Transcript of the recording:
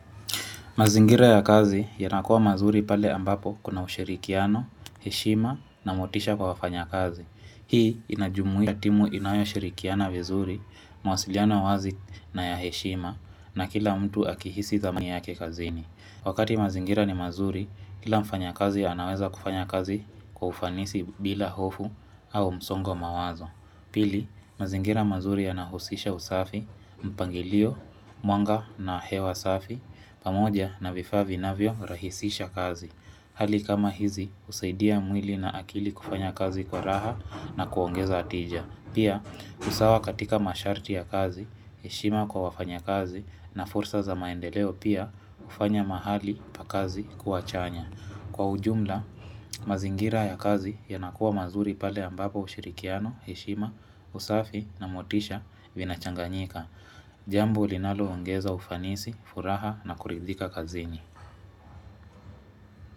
Mazingira ya kazi yanakua mazuri pale ambapo kuna ushirikiano, heshima na motisha kwa wafanyikazi. Hii inajumuia timu inayoshirikiana vizuri, mawasiliano wazi na ya heshima na kila mtu akihisi zamu yake kazini. Wakati mazingira ni mazuri, kila mfanyikazi anaweza kufanya kazi kwa ufanisi bila hofu au msongo mawazo. Pili, mazingira mazuri yanahusisha usafi, mpangilio, mwanga na hewa safi, pamoja na vifaa vinavyorahisisha kazi. Hali kama hizi, husaidia mwili na akili kufanya kazi kwa raha na kuongeza tija. Pia, usawa katika masharti ya kazi, heshima kwa wafanyaikazi na fursa za maendeleo pia hufanya mahali pa kazi kuwa chanya. Kwa ujumla, mazingira ya kazi yanakuwa mazuri pale ambapo ushirikiano, heshima, usafi na motisha vinachanganyika. Jambo linaloongeza ufanisi, furaha na kuridhika kazini.